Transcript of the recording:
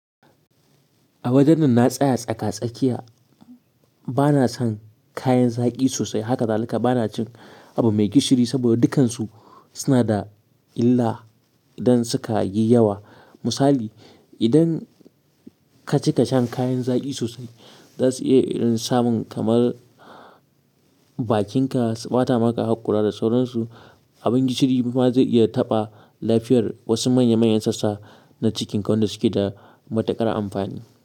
A wajen nan na tsaya tsaka-tsakiya. Bana son kayan zaki sosai, hakazalika bana cin abu mai gishiri saboda dukkansu suna da illa. Idan suka yi yawa. Misali, idan kacika shan kayan zaki sosai, zasu iya yin samun kamar. Bakinka su ɓata maka haƙora da sauransu. Abin gishiri ma zai iya taɓa lafiyar wasu manya-manyan sassa na cikin ƙa wayanda suke da matuƙar amfani.